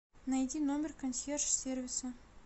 найди номер консьерж сервиса